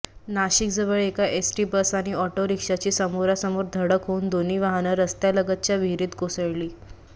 नाशिकजवळ एका ST bus आणि ऑटो रिक्षाची समोरासमोर धडक होऊन दोन्ही वाहनं रस्त्यालगतच्या विहरीत कोसळली